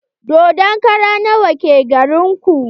Dodon kara nawa ke garin ku?